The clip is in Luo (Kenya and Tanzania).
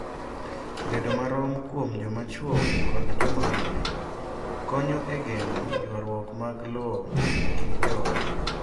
Bedo marom kuom jomachwo kod joma mine konyo e geng’o ywarruok mag lowo e kind joot.